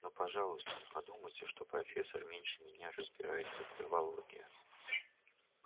но пожалуйста не подумайте что профессор меньше меня разбирается в травологии